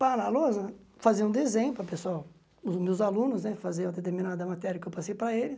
Pá na lousa né, fazia um desenho para o pessoal, os meus alunos né faziam determinada matéria que eu passei para eles.